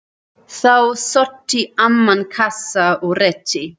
Þá sótti amman kassa og rétti